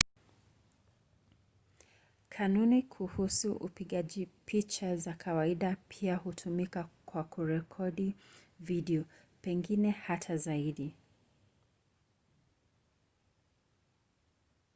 kanuni kuhusu upigaji picha za kawaida pia hutumika kwa kurekodi video pengine hata zaidi